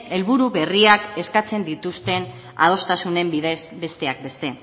helburu berriak eskatzen dituzten adostasunen bidez besteak beste